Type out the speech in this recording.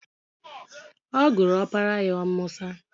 Ọ gụrụ opara ya Musa.